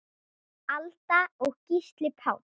Alda og Gísli Páll.